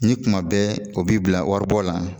Ni kuma bɛ o b'i bila waribɔ la